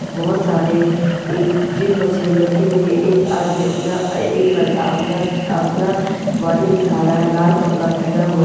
बहुत सारे gym machine रखी हुई है एक आदमी अपना एक लड़का अपना बॉडी दिखा रहा है लाल कपड़ा पहना है।